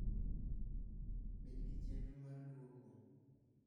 Bed gi Chenro mar Lwoko: